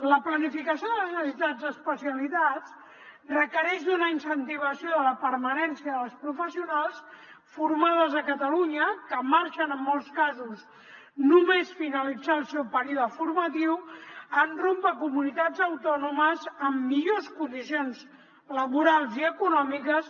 la planificació de les necessitats d’especialitats requereix una incentivació de la permanència de les professionals formades a catalunya que marxen en molts casos només finalitzar el seu període formatiu en rumb a comunitats autònomes amb millors condicions laborals i econòmiques